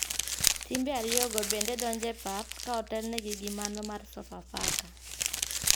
Timbe ariyo go bende donjo e pap , ka otel ne gi gimano mar sofa faka .